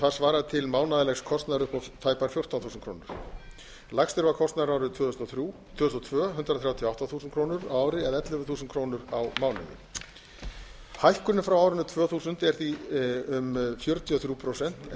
það svarar til mánaðarlegs kostnaðar upp á tæpar fjórtán þúsund krónur lægst er kostnaðurinn árið tvö þúsund og tvö hundrað þrjátíu og átta þúsund krónur á ári eða ellefu þúsund krónur á mánuði hækkunin frá árinu tvö þúsund er því um fjörutíu og þrjú prósent en